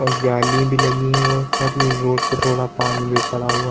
और जाली भी लगी है रोड पे थोड़ा पानी भी पड़ा हुवा है।